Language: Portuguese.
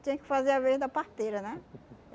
Tinha que fazer a vez da parteira, né?